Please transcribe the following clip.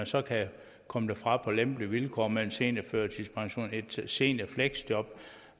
så kan komme derfra på lempelige vilkår med en seniorførtidspension eller et seniorfleksjob